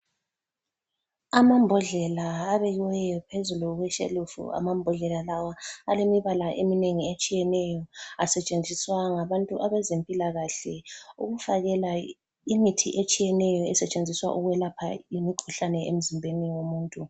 Amambodlela abekiweyo phezulu kweshelufu ,amambodlela lawa alemibala eminengi etshiyeneyo. Asetshenziswa ngabantu abezempilakahle ukufakela imithi etshiyeneyo esetshenziswa ukwelapha imikhuhlane emzimbeni yomuntu.